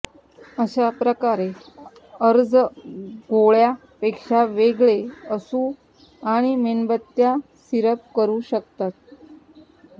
अशा प्रकारे अर्ज गोळ्या पेक्षा वेगळे असू आणि मेणबत्त्या सिरप करू शकता